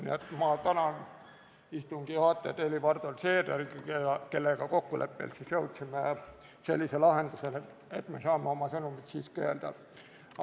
Nii et ma tänan istungi juhatajat Helir-Valdor Seederit, kellega kokkuleppel jõudsime sellisele lahendusele, et me saame oma sõnumid siiski öelda.